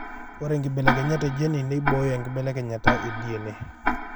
Ore nkibelekenyat e Jeni neibooyo enkibelekenyata e DNA